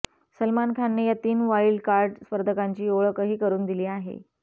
सलमान खानने या तीन वाईल्ड कार्ड स्पर्धकांची ओळखही करून दिली आहे